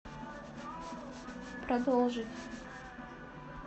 продолжить